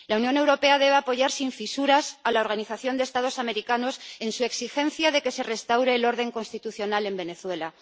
La Unión Europea debe apoyar sin fisuras a la Organización de los Estados Americanos en su exigencia de que se restaure el orden constitucional en Venezuela.